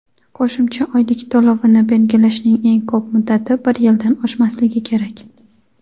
Qo‘shimcha oylik to‘lovini belgilashning eng ko‘p muddati bir yildan oshmasligi kerak.